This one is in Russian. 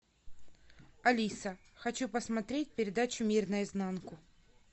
алиса хочу посмотреть передачу мир наизнанку